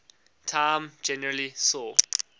time generally saw